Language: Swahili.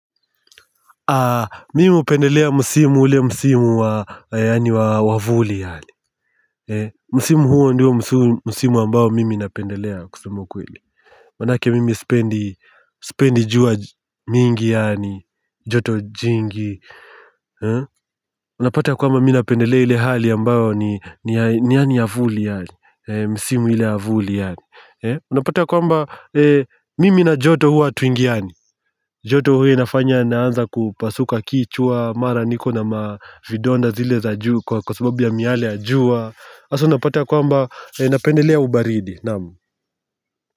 Mimi hupendelea msimu ule msimu wa yaani wa wavuli yale Msimu huo ndio musimu ambao mimi napendelea kusema ukweli manake mimi sipendi sipendi jua mingi yaani, joto jingi. Unapata kwamba mimi napendelea ile hali ambayo ni ya ni vuli yani, msimu ile ya vuli yani Unapata kwamba mimi na joto huwa hatuingiani joto huwa inafanya naanza kupasuka kichwa, mara niko na mavidonda zile za juu kwa kwa sababu ya miale ya jua. Hasa unapata kwamba napendelea ubaridi, naam.